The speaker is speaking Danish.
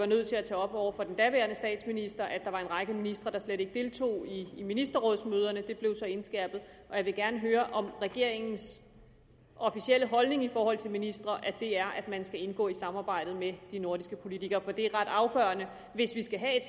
nødt til at tage op over for den daværende statsminister at der var en række ministre der slet ikke deltog i ministerrådsmøderne det blev så indskærpet og jeg vil gerne høre om regeringens officielle holdning i forhold til ministre er at man skal indgå i samarbejdet med de nordiske politikere for det er ret afgørende hvis vi skal have